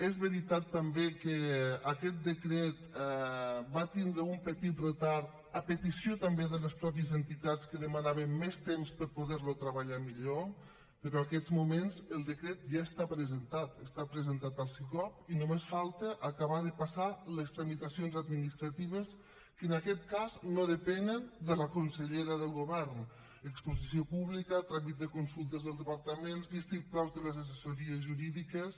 és veritat també que aquest decret va tindre un petit retard a petició també de les mateixes entitats que demanaven més temps per poder lo treballar millor però en aquests moments el decret ja està presentat està presentat al sicop i només falta acabar de passar les tramitacions administratives que en aquest cas no depenen de la consellera del govern exposició pública tràmit de consultes dels departaments vistiplaus de les assessories jurídiques